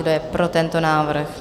Kdo je pro tento návrh?